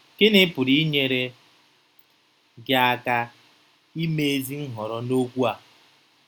Gịnị pụrụ inyere gị aka ime ezi nhọrọ n’okwu a?